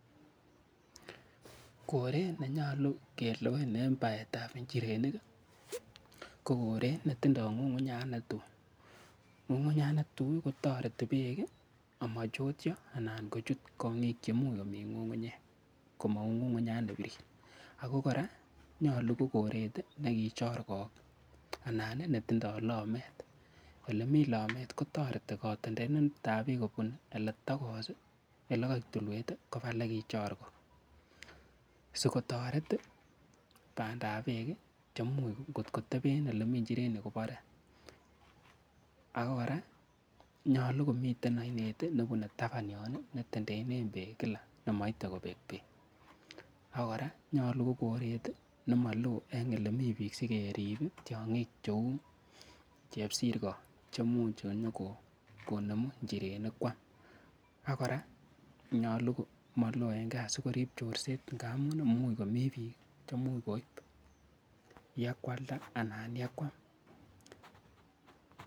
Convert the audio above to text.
Koret ne nyalu kelewen en paet ap njirenik ko koret netindai g'ung'unyat ne tui. Ng'ung'unyat ne tui ko tareto peek komachotia anan kochut kong'ik che much komi ng'ung'unyek kou ng'ung'unyat ne pirir. Ako kora, nyalu ko koret nekichorgok anan netindai lameet. Ole mi lameet kotareti katendenetp peek kopun ole tokos ole kaek tulwet kopa ole kichorgok si kotareti panda ap peek amu ngot kotepen ole mi njirenik kopare. Ako kora nyalun komiten ainet nepune tapan yon i netendendene peek kila ne maite kopek peek. Ak kora konyalu ko koret ne malo ne nekit ak piik sikerip tiag'ik che u chepsirka che much nyukonemun njireni koam Ak kora nyalu ko malo eng' gaa si korip chordet ngamu mi piik.